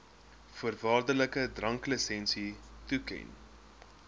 voorwaardelike dranklisensie toeken